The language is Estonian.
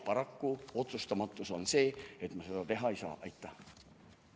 Paraku, otsustamatus on see, miks ma seda teha ei saa.